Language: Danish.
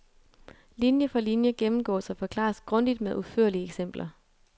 Linie for linie gennemgås og forklares grundigt med udførlige eksempler.